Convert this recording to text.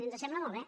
ens sembla molt bé